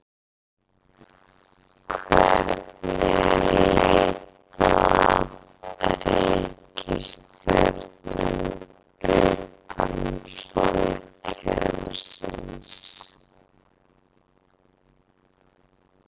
Hvernig er leitað að reikistjörnum utan sólkerfisins?